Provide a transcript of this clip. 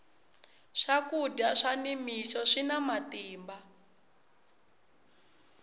swakudya swa ni mixo swina matimba